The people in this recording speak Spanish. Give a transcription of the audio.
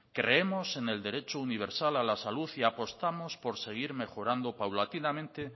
creemos en el derecho universal a la salud y apostamos por seguir mejorando paulatinamente